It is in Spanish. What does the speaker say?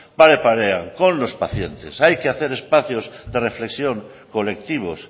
pare parean con los pacientes hay que hacer espacios de reflexión colectivos